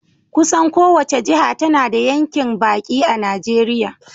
Kusan kowace jiha tana da yankin baki a Najeriya.